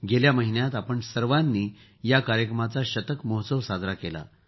गेल्या महिन्यात आपण सर्वांनी या कार्यक्रमाचा शतक महोत्सव साजरा केला आहे